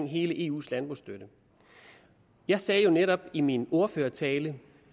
hele eus landbrugsstøtte jeg sagde jo netop i min ordførertale